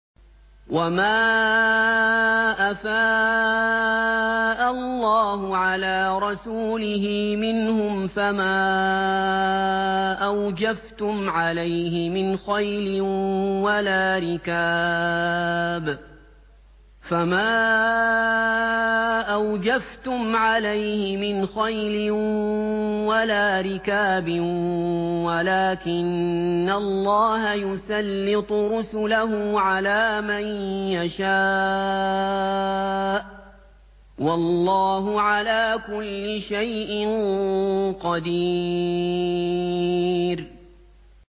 وَمَا أَفَاءَ اللَّهُ عَلَىٰ رَسُولِهِ مِنْهُمْ فَمَا أَوْجَفْتُمْ عَلَيْهِ مِنْ خَيْلٍ وَلَا رِكَابٍ وَلَٰكِنَّ اللَّهَ يُسَلِّطُ رُسُلَهُ عَلَىٰ مَن يَشَاءُ ۚ وَاللَّهُ عَلَىٰ كُلِّ شَيْءٍ قَدِيرٌ